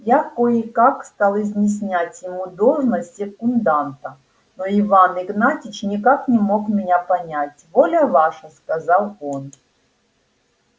я кое-как стал изъяснять ему должность секунданта но иван игнатьич никак не мог меня понять воля ваша сказал он